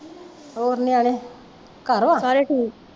ਹੋਰ ਨਿਆਣੇ ਘਰ ਵਾ